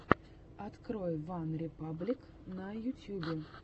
открой ван репаблик на ютьюбе